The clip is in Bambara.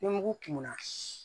Ni mugu kumuna